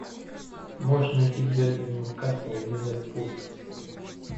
можешь найти дерби ньюкасл ливерпуль